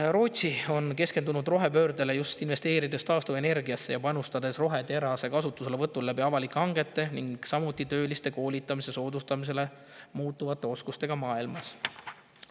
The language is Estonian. Rootsi on keskendunud rohepöördele, investeerides just taastuvenergiasse ja panustades roheterase kasutuselevõttu avalike hangete kaudu, ning samuti tööliste koolitamise soodustamisele muutuvate oskustega maailmas.